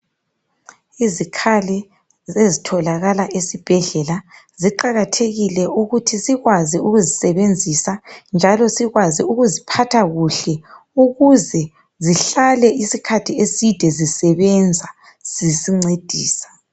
Izikhali ezitholakala esibhedlela kuqakathekile ukuthi sikwazi ukuzisebenzisa njalo sikwazi ukuziphatha kuhle ukuze zihlale isikhathi eside zisebenza zisincedisa.